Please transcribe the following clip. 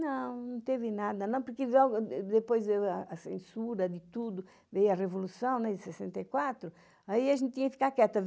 Não, não teve nada, porque depois a censura de tudo, veio a Revolução de sessenta e quatro, aí a gente tinha que ficar quieta.